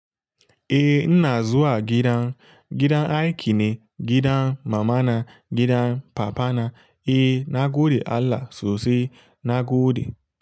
Eh, ina zuwa gidan, gidan aiki ne, gidan mamana, gidan papana. Eh, na gode Allah sosai, na gode.